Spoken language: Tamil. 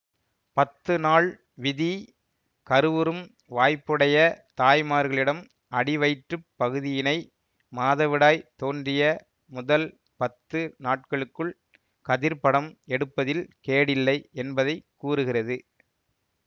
பத்துநாள் விதி கருவுறும் வாய்ப்புடைய தாய்மார்களிடம் அடிவயிற்றுப் பகுதியினை மாதவிடாய் தோன்றிய முதல் பத்து நாட்களுக்குள் கதிர்ப்படம் எடுப்பதில் கேடில்லை என்பதை கூறுகிறது